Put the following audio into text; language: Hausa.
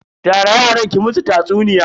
Tara yaran ki musu tatsuniya.